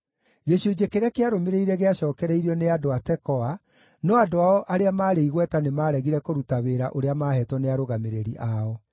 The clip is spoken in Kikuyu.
Gĩcunjĩ kĩrĩa kĩarũmĩrĩire gĩacookereirio nĩ andũ a Tekoa, no andũ ao arĩa maarĩ igweta nĩmaregire kũruta wĩra ũrĩa maaheetwo nĩ arũgamĩrĩri ao.